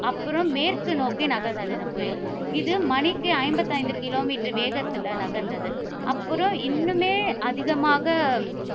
அப்புறம் மேற்கு நோக்கி நகர்ந்தது இந்த புயல். இது மணிக்கு ஐம்பத்தி ஐந்து kilometer வேகத்தில நகர்ந்தது. அப்புறம், இன்னுமே அதிகமாக